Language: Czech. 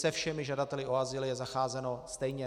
Se všemi žadateli o azyl je zacházeno stejně.